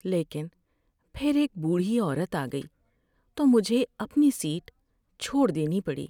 لیکن پھر ایک بوڑھی عورت آ گئی تو مجھے اپنی سیٹ چھوڑ دینی پڑی۔